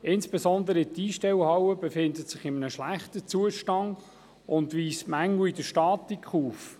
Insbesondere die Einstellhalle ist in einem schlechten Zustand und weist Mängel in der Statik auf.